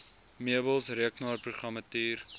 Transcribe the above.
meubels rekenaarprogrammatuur